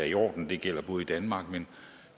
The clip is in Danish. i orden det gælder både i danmark men